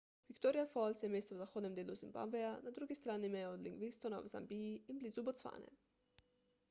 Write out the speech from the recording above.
victoria falls je mesto v zahodnem delu zimbabveja na drugi strani meje od livingstona v zambiji in blizu bocvane